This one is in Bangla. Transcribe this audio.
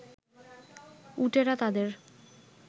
উটেরা তাদের